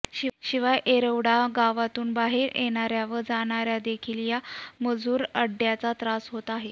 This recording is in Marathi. शिवाय येरवडा गावातून बाहेर येणार्या व जाणार्यांना देखील या मजुर अड्ड्याचा त्रास होत होता